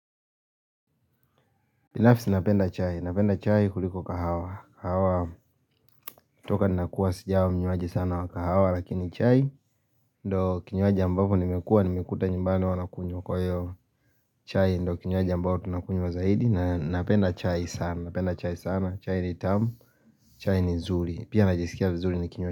Binafisi napenda chai, napenda chai kuliko kahawa kahawa toka ninakua sijakuwa mnyuaji sana wa kahawa Lakini chai, ndo kinyuaji ambapo nimekua, nimekuta nyumbani wanakunywa kwa hiyo chai ndo kinyuaji ambapo tunakunywa zaidi na napenda chai sana, napenda chai sana, chai ni tamu chai ni nzuri, pia najisikia vizuri nikinyua.